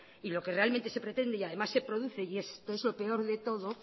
y lo que realmente se pretende y además se produce y esto es lo peor de todo